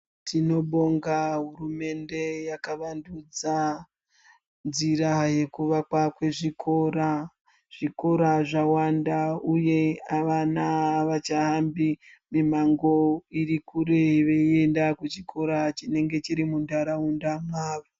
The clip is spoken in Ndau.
Tinobonga hurumende yakavandudza njira yekuvakwa kwezvikora zvikora zvawanda uye vana avachahambi mimango iri kure veienda kuchikora chiri muntaraunda mwavo.